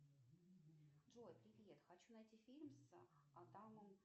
джой привет хочу найти фильм с адамом